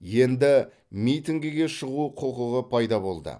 енді митингіге шығу құқығы пайда болды